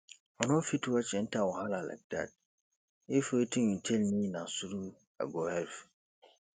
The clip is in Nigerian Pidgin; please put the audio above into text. i no fit watch enter wahala like dat if wetin you tell me na through i go help